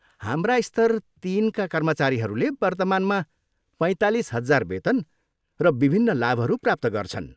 हाम्रा स्तर तिनका कर्मचारीहरूले वर्तमानमा पैँतालिस हजार वेतन र विभिन्न लाभहरू प्राप्त गर्छन्।